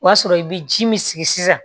O y'a sɔrɔ i bɛ ji min sigi sisan